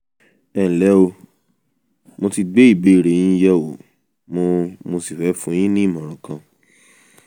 ẹnlẹ́ o mo ti gbé ìbéèrè yín yẹ̀wò mo mo sì fẹ́ fún yín ní ìmọ̀ràn kan